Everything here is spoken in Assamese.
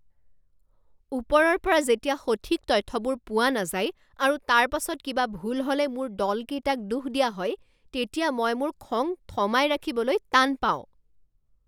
ওপৰৰ পৰা যেতিয়া সঠিক তথ্যবোৰ পোৱা নাযায় আৰু তাৰ পাছত কিবা ভুল হ'লে মোৰ দলকেইটাক দোষ দিয়া হয় তেতিয়া মই মোৰ খং থমাই ৰাখিবলৈ টান পাওঁ।